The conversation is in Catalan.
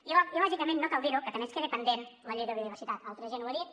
i lògicament no cal dir ho que també ens queda pendent la llei de la biodiversitat altra gent ho ha dit